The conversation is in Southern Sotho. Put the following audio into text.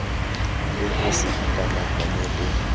le ho se ikamahanye le